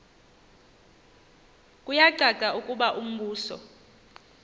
kuyacaca ukuba umbuso